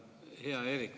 Hea Eerik!